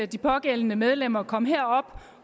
de pågældende medlemmer kom herop